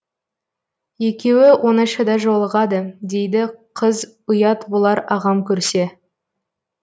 екеуі оңашада жолығады дейді қыз ұят болар ағам көрсе